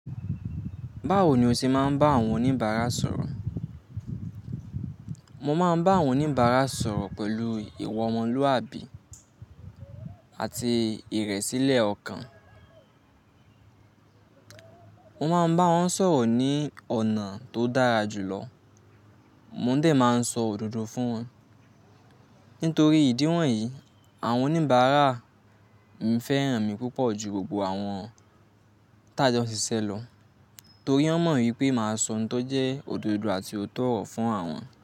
Báwo ni o ṣe máa ń bá àwọn oníbàárà sọ̀rọ̀? Mo máa ń bá àwọn oníbàárà sọ̀rọ̀ pẹ̀lú ìwa omoluàbí, àti ìrẹ̀sílẹ̀ ọkàn. Mo máa ń bá wọn sọ̀rọ̀ ní ọ̀nà tó dára jù lọ. Mo ò dẹ̀ máa ń sọ òdodo fún wọn. Nítorí ìdí wọ̀nyí, àwọn oníbàárà ń fẹ́ràn mi púpọ̀ ju gbogbo àwọn tá jo si ṣe lọ. Torí wọ́n mọ̀ wípé màá sọ ohun tó jẹ́ òdodo àti òtọ́ oro fún àwọn.